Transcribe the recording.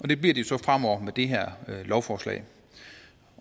det bliver de så fremover med det her lovforslag